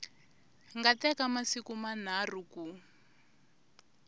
nga teka masiku manharhu ku